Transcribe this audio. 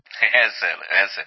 হ্যাঁ স্যার হ্যাঁ স্যার